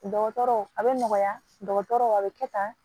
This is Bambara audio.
Dɔgɔtɔrɔ a bɛ nɔgɔya dɔgɔtɔrɔw a bɛ kɛ tan